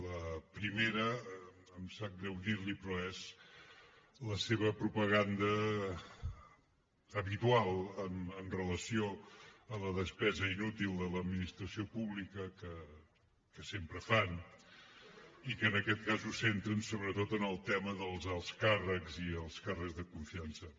la primera em sap greu dir l’hi però és la seva propaganda habitual amb relació a la despesa inútil de l’administració pública que sempre fan i que en aquest cas ho centren sobretot en el tema dels alts càrrecs i els càrrecs de confiança